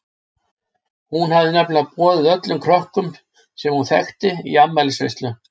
Hún hafði nefnilega boðið öllum krökkum sem hún þekkti í afmælisveislu.